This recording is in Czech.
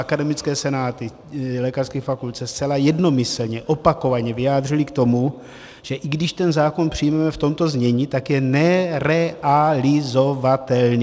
Akademické senáty lékařských fakult se zcela jednomyslně opakovaně vyjádřily k tomu, že i když ten zákon přijmeme v tomto znění, tak je nerealizovatelný.